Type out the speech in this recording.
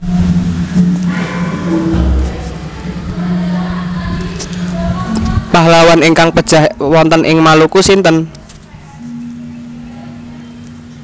Pahlawan ingkang pejah wonten ing Maluku sinten?